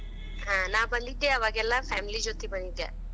ಹಾ ನಾ ಬಂದಿದ್ದೆ ಆವಾಗೆಲ್ಲಾ family ಜೊತಿ ಬಂದಿದ್ಯಾ.